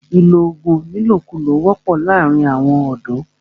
ìlọ oògùn ní ìlòkulò wọ́pọ̀ láàrín àwọn ọ̀dọ̀.